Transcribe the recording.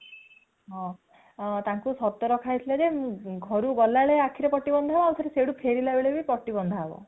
ହଁ ହଁ ତାଙ୍କୁ ଶର୍ତ ରଖା ହେଇଥିଲା ଯେ ଘରୁ ଗଲାବେଳେ ଆଖିରେ ପଟି ବନ୍ଧାହେବ ଆଉଥରେ ସେଠୁ ଫେରିଲାବେଳେ ବି ଆଖିରେ ପଟି ବନ୍ଧାହେବ